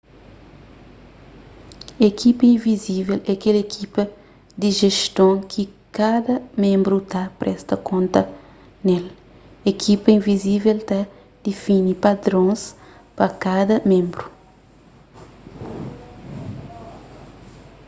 ekipa invizível é kel ekipa di jeston ki kada ménbru ta presta konta ne-l ekipa invizível ta difini padrons pa kada ménbru